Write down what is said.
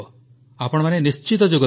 ଆପଣମାନେ ନିଶ୍ଚିତ ଯୋଗଦେବେ